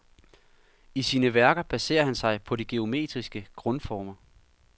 I sine værker baserer han sig på de geometriske grundformer.